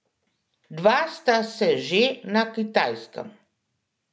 Dva sta se že na Kitajskem.